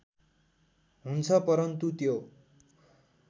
हुन्छ परन्तु त्यो